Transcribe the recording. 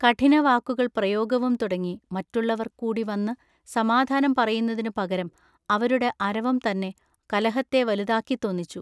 കഠിന വാക്കുകൾ പ്രയോഗവും തുടങ്ങി മറ്റുള്ളവർ കൂടിവന്നു സമാധാനം പറയുന്നതിനു പകരം അവരുടെ അരവം തന്നെ കലഹത്തെ വലുതാക്കിത്തൊന്നിച്ചു.